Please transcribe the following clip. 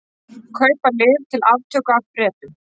Kaupa lyf til aftöku af Bretum